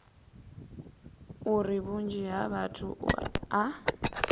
uri vhunzhi ha vhathu a